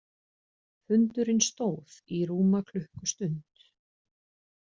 Fundurinn stóð í rúma klukkustund